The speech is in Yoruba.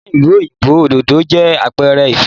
Ní ìlú òyìnbó, òdòdó jẹ́ àpẹrẹ ìfẹ́.